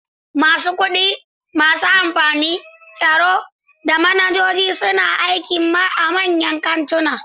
Masu kudi, masu amfani, tsaro, da manajoji suna aiki a manyan kantuna.